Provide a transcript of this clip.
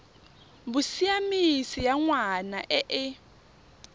bosiamisi ya ngwana e e